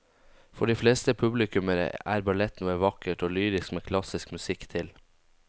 For de fleste publikummere er ballett noe vakkert og lyrisk med klassisk musikk til.